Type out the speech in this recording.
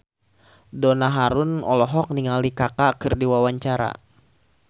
Donna Harun olohok ningali Kaka keur diwawancara